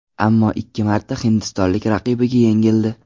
Ammo ikki marta hindistonlik raqibiga yengildi.